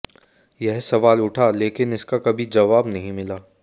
यह सवाल उठा लेकिन इसका कभी जवाब नहीं मिला